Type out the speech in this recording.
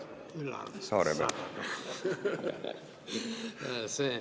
Üllar Saaremäe.